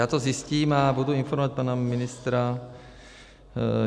Já to zjistím a budu informovat pana ministra.